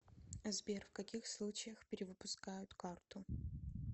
сбер в каких случаях перевыпускают карту